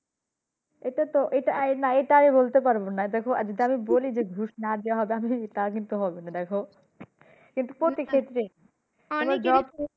এটা তো না এটা আমি বলতে পাড়বোনা দেখো যদি আমি বলি ঘুষ না দিয়েই job হবে তা কিন্তু প্রতি ক্ষেত্রে